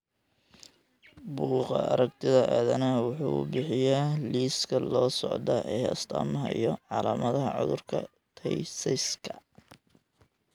Bugaa aragtida aDdanaha wuxuu bixiyaa liiska soo socda ee astamaha iyo calaamadaha cudurka Tay Sachska.